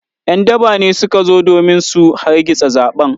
‘Yan daba ne suka zo domin su hargitsa zaɓen.